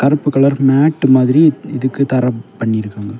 கருப்பு colour matte மாதிரி இதுக்கு தர பண்ணி இருக்காங்க.